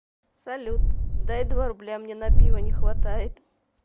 салют дай два рубля мне на пиво не хватает